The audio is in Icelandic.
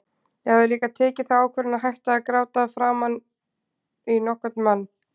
Ég hafði líka tekið þá ákvörðun að hætta að gráta fyrir framan nokkurn mann.